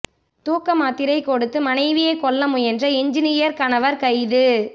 தூக்கமாத்திரை கொடுத்து மனைவியை கொல்ல முயன்ற என்ஜினீயர் கணவர் கைது